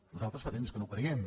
nosaltres fa temps que no ho creiem